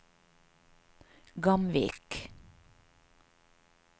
Gamvik